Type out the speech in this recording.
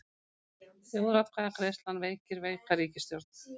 Þjóðaratkvæðagreiðslan veikir veika ríkisstjórn